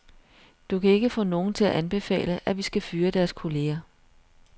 Du kan ikke få nogen til at anbefale, at vi skal fyre deres kolleger.